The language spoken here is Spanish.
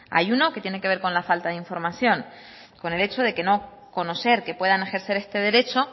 hay uno que tiene que ver con la falta de información con el hecho de no conocer que pueden ejercer este derecho